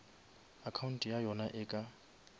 account ya yona e ka